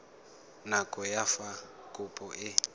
nako ya fa kopo e